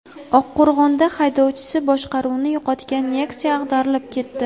Oqqo‘rg‘onda haydovchisi boshqaruvni yo‘qotgan Nexia ag‘darilib ketdi.